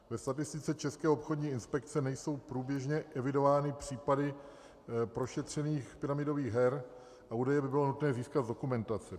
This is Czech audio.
Ve statistice České obchodní inspekce nejsou průběžně evidovány případy prošetřených pyramidových her a údaje by bylo nutné získat z dokumentace.